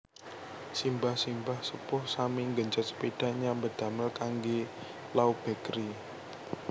Simbah simbah sepuh sami nggenjot sepeda nyambet damel kangge Lauw Bakery